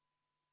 Aitäh!